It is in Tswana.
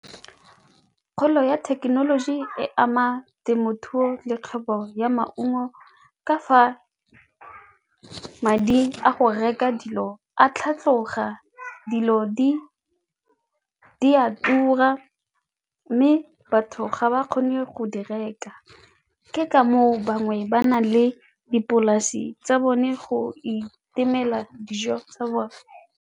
Kgolo ya thekenoloji e ama temothuo le kgwebo ya maungo ka fa madi a go reka dilo a tlhatlhoga, dilo di a tura mme batho ga ba kgone go di reka, ke ka moo bangwe ba nang le dipolase tsa bone go itemela dijo tsa bone.